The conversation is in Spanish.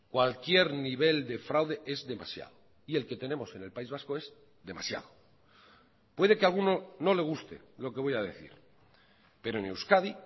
cualquier nivel de fraude es demasiado y el que tenemos en el país vasco es demasiado puede que a alguno no le guste lo que voy a decir pero en euskadi